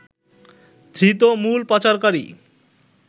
ধৃত মূল পাচারকারী